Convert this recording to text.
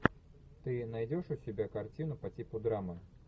ты найдешь у себя картину по типу драмы